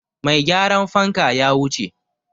Mai gyaran fanka ya wuce.